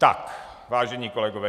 Tak, vážení kolegové.